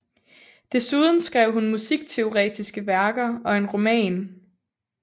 Desuden skrev hun musikteoretiske værker og en roman